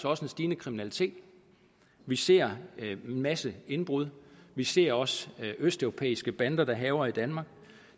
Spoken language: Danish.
også en stigende kriminalitet vi ser en masse indbrud vi ser også østeuropæiske bander der hærger i danmark